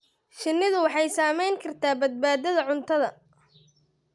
Shinnidu waxay saamayn kartaa badbaadada cuntada.